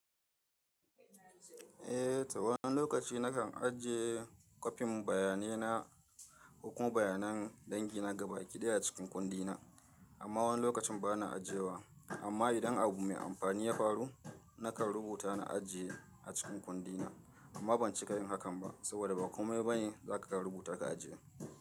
Eh ta wani lokaci na kan ajiye kwafin bayanai na, hukun bayanan dangina gaba ƙidaye a cikin kundina amma wani lokacin bana ajiyewa. Amma idan abu mai amfani ya faru nakan rubuta na ajiye a cikin kundina amma ban cika yin hakan ba saboda ba kome bane za ka rubuta ka ajiye.